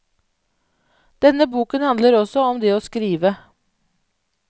Denne boken handler også om det å skrive.